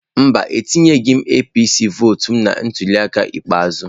Mba, atunyeghi m APC vọọtụ na ntuliaka ikpeazụ